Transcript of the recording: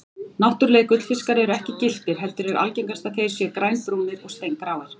Náttúrulegir gullfiskar eru ekki gylltir heldur er algengast að þeir séu grænbrúnir og steingráir.